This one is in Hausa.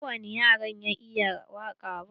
Ba kowani yaro ya iya waƙa ba.